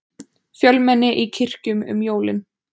Fjölmenni í kirkjum um jólin